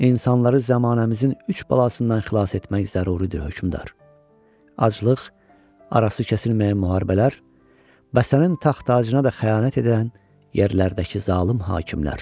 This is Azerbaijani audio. İnsanları zəmanəmizin üç bəlasından xilas etmək zəruridir, hökmdar: aclıq, arası kəsilməyən müharibələr, bəs sənin taxt-tacına da xəyanət edən yerlərdəki zalım hakimlər.